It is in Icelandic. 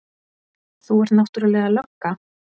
Þú ert náttúrlega lögga.